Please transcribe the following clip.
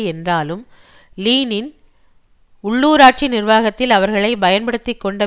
என்றாலும் லீல்லின் உள்ளூராட்சி நிர்வாகத்தில் அவர்களை பயன்படுத்தி கொண்ட